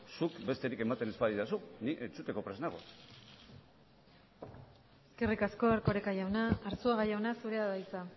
zuk besterik ematen ez badidazu ni entzuteko prest nago eskerrik asko erkoreka jauna arzuaga jauna zurea da hitza